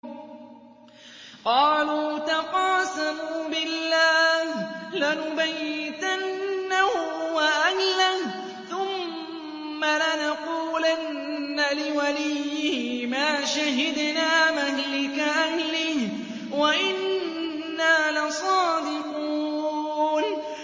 قَالُوا تَقَاسَمُوا بِاللَّهِ لَنُبَيِّتَنَّهُ وَأَهْلَهُ ثُمَّ لَنَقُولَنَّ لِوَلِيِّهِ مَا شَهِدْنَا مَهْلِكَ أَهْلِهِ وَإِنَّا لَصَادِقُونَ